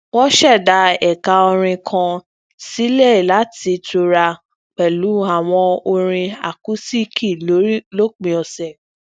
wọn ṣẹdá ẹka orin kan sílè láti tura pẹlú àwọn orin akusiiki lópin ọsẹ